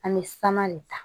An bɛ saman de ta